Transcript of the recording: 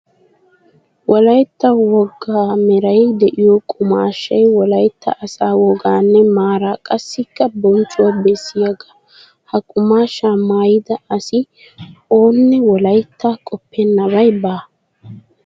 Wolayitta wogaa meray diyo qumaashshay wolayitta asaa wogaanne maaraa qassikka bonchchuwa bessiyagaa. Ha qumaashshaa mayyida asi oonne wolayitta qoppennay baawa.